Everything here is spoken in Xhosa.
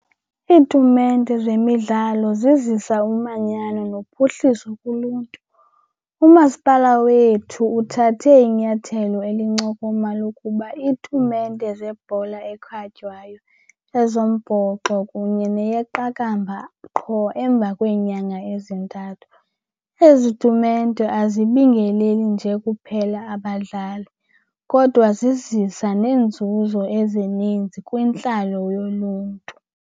Iitumente zemidlalo zizisa umanyano nophuhliso kuluntu. Umasipala wethu uthathe inyathelo elincokoma lokuba iitumente zebhola ekhatywayo, ezombhoxo kunye neyeqakamba qho emva kweenyanga ezintathu. Ezi tumente azibingeleli nje kuphela abadlali kodwa zizisa neenzuzo ezininzi kwintlalo yoluntu.